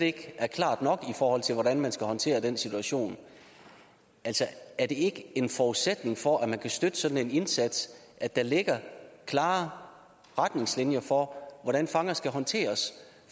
ikke er klart nok i forhold til hvordan man skal håndtere den situation er det ikke en forudsætning for at man kan støtte sådan en indsats at der ligger klare retningslinjer for hvordan fanger skal håndteres